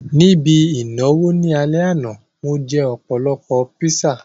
Ní ibi ìnáwó ní alẹ́ àná, mo jẹ́ ọ̀pọ̀lọpọ̀ píṣà